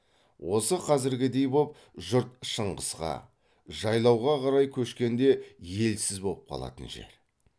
осы қазіргідей боп жұрт шыңғысқа жайлауға қарай көшкенде елсіз боп қалатын жер